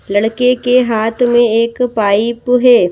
लड़के के हाथ में एक पाइप है।